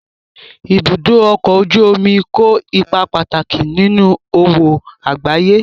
Ibùdó ọkọ̀ ojú omi kó ipa pàtàkì nínú òwò àgbáyé